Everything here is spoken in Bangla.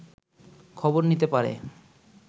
খবর নিতে পারে